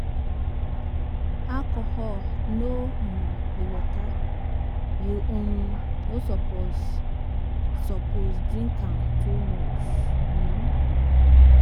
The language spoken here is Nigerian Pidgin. Alcohol no um be water, you um no suppose suppose drink am too much. um